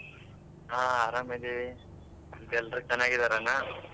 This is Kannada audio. ಹಾ ಆರಾಮ್ ಇದೀವಿ ಮತ್ತ್ ಎಲ್ರು ಚೆನ್ನಾಗಿ ಇದಾರ ಅಣ್ಣಾ?